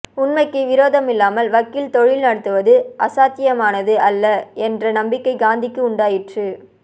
உண்மைக்கு விரோதமில்லாமல் வக்கீல் தொழில் நடத்துவது அசாத்தியமானது அல்ல என்ற நம்பிக்கை காந்திக்கு உண்டாயிற்று